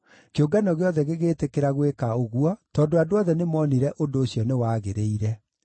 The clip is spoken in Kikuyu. Kĩũngano gĩothe gĩgĩtĩkĩra gwĩka ũguo tondũ andũ othe nĩmoonire ũndũ ũcio nĩwagĩrĩire.